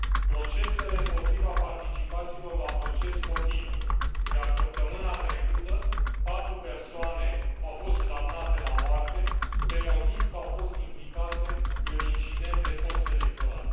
Procesele împotriva participanților la proces continuă, iar săptămâna trecută patru persoane au fost condamnate la moarte pe motiv că au fost implicate în incidente postelectorale.